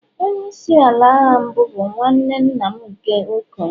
Onye isi ala agha mbụ bụ nwanne nna m nke okenye